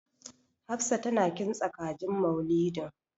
Hafsa tana kintsa kajin Maulidin.